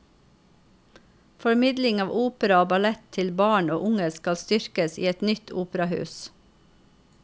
Formidling av opera og ballett til barn og unge skal styrkes i et nytt operahus.